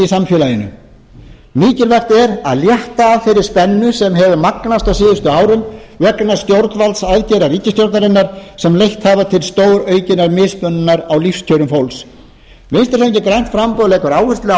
samfélaginu mikilvægt er að létta af þeirri spennu sem hefur magnast á síðustu árum vegna stjórnvaldsaðgerða ríkisstjórnarinnar sem leitt hafa til stóraukinnar mismununar á lífskjörum fólks vinstri hreyfingin grænt framboð leggur áherslu á